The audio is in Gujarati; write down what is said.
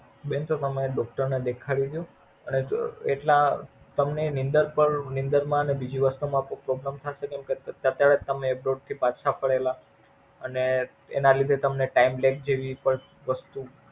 બેન પણ તમારા દોસ્તાર ને દેખાડીદયો એટલે તમને નીંદર નીંદર માં પણ ને બીજી વસ્તુ માં પણ Problem થાશે ને અત્યારે તમે Abroid થી પાછા ફરેલા અને એના લીધે તમને Timelight જેવી વસ્તુ.